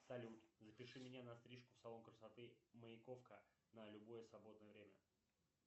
салют запиши меня на стрижку в салон красоты маяковка на любое свободное время